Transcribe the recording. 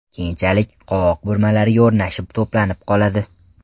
Keyinchalik qovoq burmalariga o‘rnashib to‘planib qoladi.